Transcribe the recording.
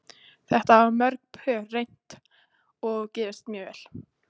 Þetta hafa mörg pör reynt og gefist mjög vel.